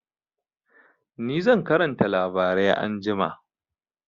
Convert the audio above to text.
Ni zan karanta labarai anjima.